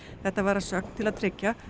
þetta var að sögn til að tryggja